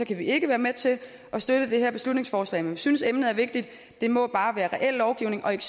kan vi ikke være med til at støtte det her beslutningsforslag men vi synes at emnet er vigtigt det må bare være reel lovgivning og ikke